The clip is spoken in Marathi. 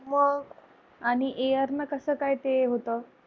आणि air न कसं काय ते होतं.